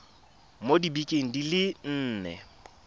mo dibekeng di le nne